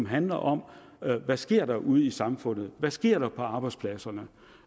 handler om hvad der sker ude i samfundet der sker på arbejdspladserne